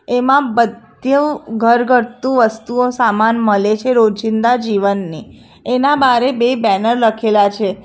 એમાં બધ્યુ ઘરઘત્તુ વસ્તુઓ સામાન મલે છે રોજિંદા જીવનની એના બારે બે બેનર લખેલા છે.